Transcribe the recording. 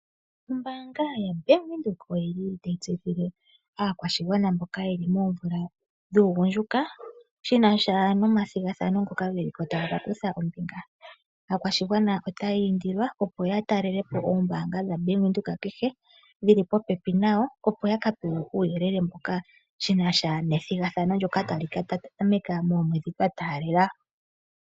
Ombaanga ya Bank Windhoek oyi li tayi tseyithile aakwashigwana mboka ye li moomvula dhuugundjuka, shina sha nomathigathano ngoka ge li ko taya ka kutha ombinga. Aakwashigwana otaya indilwa opo ya talelepo oombanga dha Bank Windhoek kehe dhi li popepi nayo, opo ya ka pewe uuyelele mbuka, shina sha nethigathano ndoka tali ka tameka momwedhi twa taalela.